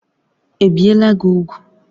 Ebiela gị úgwù?